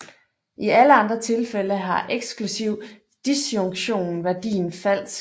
I alle andre tilfælde har eksklusiv disjunktion værdien falsk